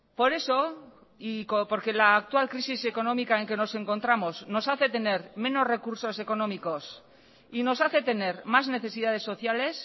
por eso y porque la actual crisis económica en que nos encontramos nos hace tener menos recursos económicos y nos hace tener más necesidades sociales